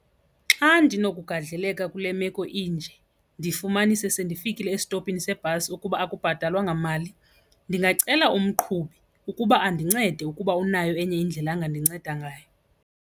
Xa ndinokugadleleka kule meko inje ndifumanise sendifikile esitopini sebhasi ukuba akubhatalwa ngamali, ndingacela umqhubi ukuba andincede ukuba unayo enye indlela angandinceda ngayo.